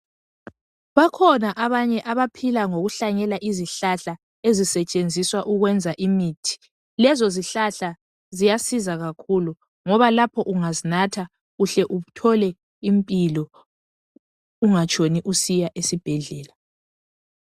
Bakhona abanye abaphila ngokuhlanyela izihlahla ezisetshenziswa ukwenza imithi lezi zihlahla ziyasiza kakhulu ngoba lapho ungazinatha uhle uthole impilo ungatshoni usiya esibhedlela